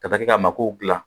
Ka taa kɛ ka magow dilan